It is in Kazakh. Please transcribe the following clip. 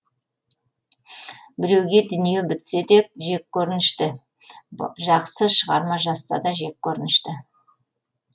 біреуге дүние бітсе де жеккөрінінішті жақсы шығарма жазса да жеккөрінішті